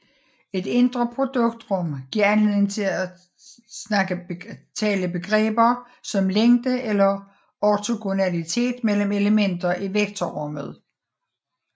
Et indre produkt rum giver anledning til at tale begreber som længde eller ortogonalitet mellem elementer i vektorrummet